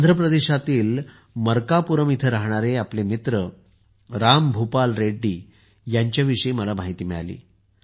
आंध्र प्रदेशातील मरकापुरम येथे राहणारे आपले मित्र राम भूपाल रेड्डी यांच्याविषयी मला माहिती मिळाली